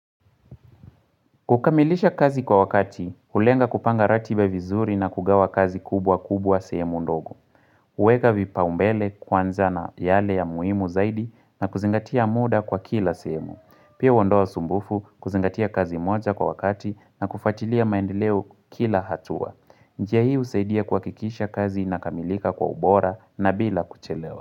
Kukamilisha kazi kwa wakati, ulenga kupanga ratiba vizuri na kugawa kazi kubwa kubwa sehemu ndogo. Huweka vipaumbele kwanza na yale ya muimu zaidi na kuzingatia muda kwa kila semu. Pia huondoa usumbufu kuzingatia kazi moja kwa wakati na kufatilia maendeleo kila hatua. Njia hii husaidia kuhakikisha kazi ina kamilika kwa ubora na bila kuchelewa.